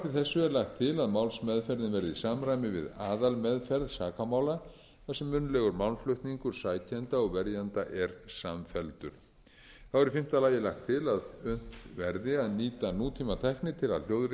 þessu er lagt til að málsmeðferðin verði í samræmi við aðalmeðferð sakamála þar sem munnlegur málflutningur sækjenda og verjenda er samfelldur þá er í fimmta lagi lagt til að unnt verði að nýta nútímatækni til að hljóðrita